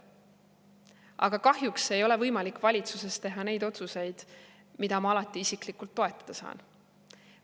Aga kahjuks ei ole võimalik valitsuses teha neid otsuseid, mida ma alati isiklikult toetada saan.